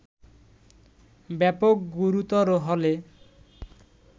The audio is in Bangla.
ব্যাপক গুরুতর হলে